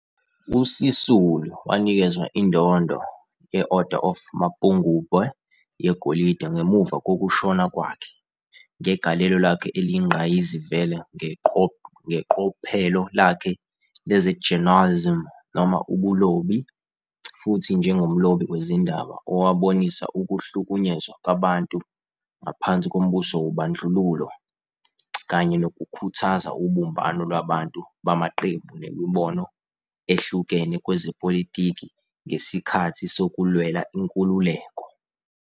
USisulu wanikezwa indondo ye-Order of Mapungubwe - yegolide, ngemuva kokushona kwakhe "ngegalelo lakhe eliyingqayizivele ngeqophelo lakhe leze-journalism noma ubulobi, futhi njengomlobi wezindaba owabonisa ukuhlukunyezwa kwabantu ngaphansi kombuso wobandlululo kanye nokukhuthaza ubumbano lwabantu bamaqembu nemibono ehlukene kwezepolitiki ngesikhathi sokulwela inkululeko."